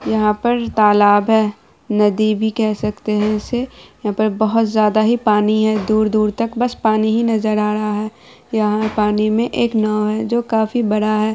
यहाँ पर तालाब है नदी भी केह सकते है इसे यहाँ पर बहुत ज्यादा पानी है दूर-दूर तक बस पानी ही नजर आ रहा है यहाँ पानी में एक नाव है जो काफी बड़ा है।